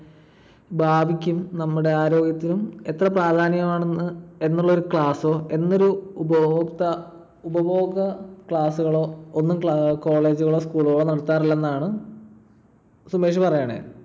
ഭാവിക്കും നമ്മുടെ ആരോഗ്യത്തിനും എത്ര പ്രാധാന്യം ആണെന്ന് എന്നുള്ള ഒരു class ഓ എന്നൊരു ഉപഭോക്ത ~ ഉപഭോഗ class കളോ ഒന്നും college കളോ school കളോ നടത്താറില്ലന്നാണ് സുമേഷ് പറയണേ.